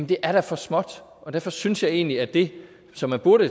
det er da for småt og derfor synes jeg egentlig at det som man burde